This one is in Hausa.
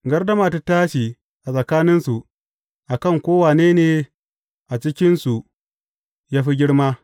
Gardama ta tashi a tsakaninsu, a kan ko wane ne a cikinsu ya fi girma.